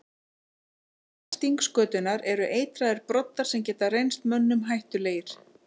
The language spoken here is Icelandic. Á hala stingskötunnar eru eitraðir broddar sem geta reynst mönnum hættulegir.